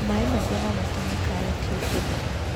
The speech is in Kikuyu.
Maĩ maingĩ nomatũme karati ibuthe.